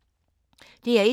DR1